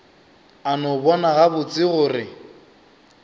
a no bona gabotse gore